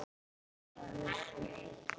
Alltaf vissir þú svarið.